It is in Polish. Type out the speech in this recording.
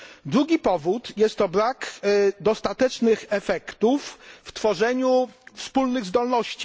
Drugi powód jest to brak dostatecznych efektów w tworzeniu wspólnych zdolności.